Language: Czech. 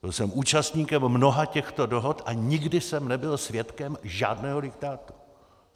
Byl jsem účastníkem mnoha těchto dohod a nikdy jsem nebyl svědkem žádného diktátu.